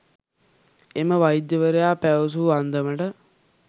එම වෛද්‍යවරයා පැවසූ අන්දමට